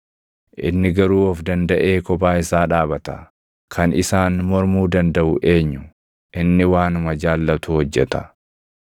“Inni garuu of dandaʼee kophaa isaa dhaabata; kan isaan mormuu dandaʼu eenyu? Inni waanuma jaallatu hojjeta.